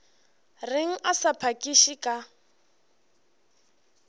reng a sa phakiše ka